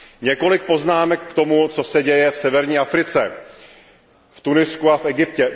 Několik poznámek k tomu, co se děje v severní Africe, v Tunisku a v Egyptě.